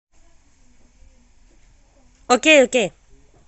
окей окей